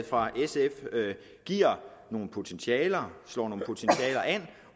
fra sf giver nogle potentialer